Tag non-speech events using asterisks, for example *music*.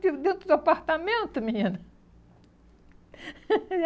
Aquilo dentro do apartamento, menina? *laughs*